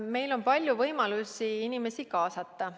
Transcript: Meil on palju võimalusi inimesi kaasata.